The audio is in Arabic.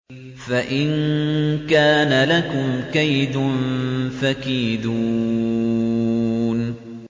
فَإِن كَانَ لَكُمْ كَيْدٌ فَكِيدُونِ